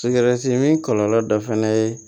min kɔlɔlɔ dɔ fɛnɛ ye